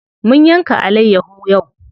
Mun yanka alayyaho yau.